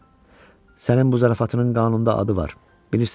Sənin bu zarafatının qanunda adı var.